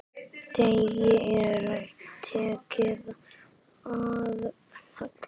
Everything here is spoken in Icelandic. Degi er tekið að halla.